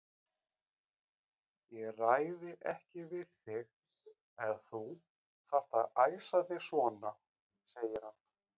Ég ræði ekki við þig ef þú þarft að æsa þig svona, segir hann.